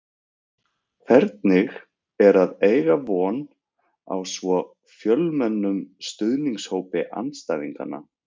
Hvernig er að eiga von á svo fjölmennum stuðningshópi andstæðinganna?